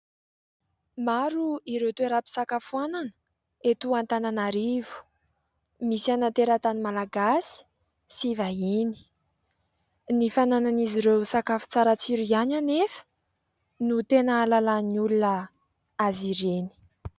Maro ireo toeram-pisakafoanana eto Antananarivo, misy ana teratany malagasy sy vahiny. Ny fananan'izy ireo sakafo tsara tsiro ihany anefa no tena hahalalan'ny olona azy ireny.